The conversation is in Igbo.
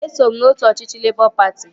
Eso m n'otu ọchịchị Lebọ patị